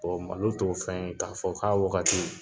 Bɔn malo t'o fɛn ye k'a fɔ k'a wagati